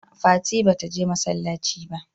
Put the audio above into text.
a'a fati bata je masallaci ba